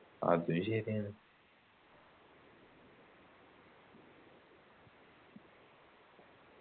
അതും ശരിയാണ്